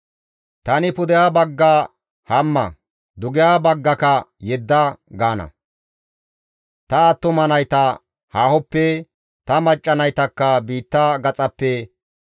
Tani pudeha bagga, ‹Hamma› dugeha baggaka, ‹Yedda› gaana; ta attuma nayta haahoppe, ta macca naytakka biitta gaxappe,